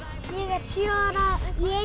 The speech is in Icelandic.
er sjö ára